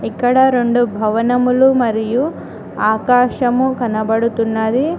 ఇక్కడ రెండు భవనములు మరియు ఆకాశము కనబడుతున్నది.